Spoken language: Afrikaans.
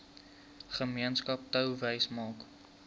gemeenskap touwys maak